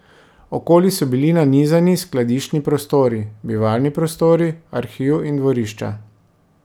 Okoli so bili nanizani skladiščni prostori, bivalni prostori, arhiv in dvorišča.